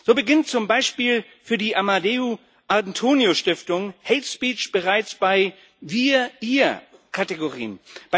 So beginnt zum Beispiel für die Amadeu Antonio Stiftung hate speech bereits bei Wir und Ihr Kategorien.